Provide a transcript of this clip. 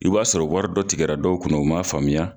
I b'a sɔrɔ wari dɔ tigɛra dɔw kunna u m'a faamuya.